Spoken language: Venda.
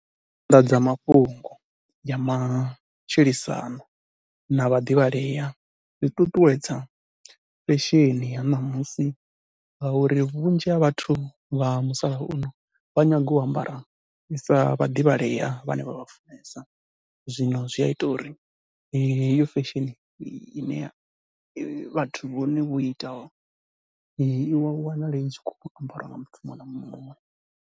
Nyanḓadzamafhungo ya matshilisano na vhaḓivhalea zwi ṱuṱuwedza fesheni ya ṋamusi ngauri vhunzhi ha vhathu vha musalauno vha nyaga u ambara sa vhaḓivhalea vhane vha vha funesa. Zwino zwi ya ita uri heyo fesheni ine vhathu vhone vho itaho, i wanale i tshi khou ambariwa nga muthu muṅwe na muṅwe.